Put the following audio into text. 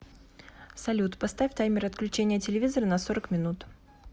салют поставь таймер отключения телевизора на сорок минут